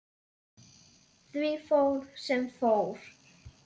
Því fór sem fór.